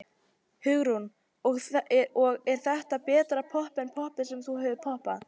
Hugrún: Og er þetta betra popp en poppið sem þú hefur poppað?